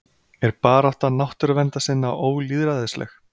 Er barátta náttúruverndarsinna ólýðræðisleg?